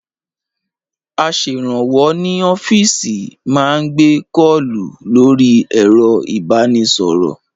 Aṣèrànwọ́ ní ọ́fíìsì má ń gbé kọ́ọ̀kù lórí ẹ̀rọ ìbánisọ̀rọ̀